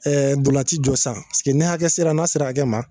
dolanci jɔ san piseke ne hakɛ sera n'a sera hakɛ ma